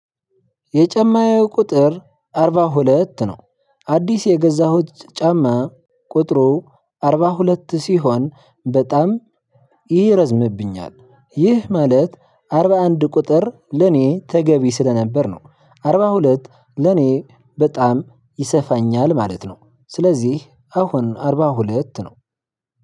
የጫማዬ ቁጥር አርባ ሁለት ነው። አዲስ የገዛሁት ጫማ ቁጥሩ አርባ ሁለት ሲሆን በጣም ይረዝምብኛል። ይህ ማለት አርባ አንድ ቁጥር ለኔ ተገቢ ስለነበር ነው። አርባ ሁለት ለኔ በጣም ይሰፋኛል ማለት ነው። ስለዚህ አሁን አርባ ሁለት ነው።